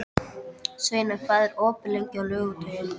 Sveinar, hvað er opið lengi á laugardaginn?